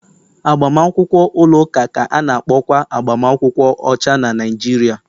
Agbamakwụkwọ ụlọ ụka ka a na-akpọkwa agbamakwụkwọ ọcha na Naijiria